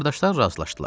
Qardaşlar razılaşdılar.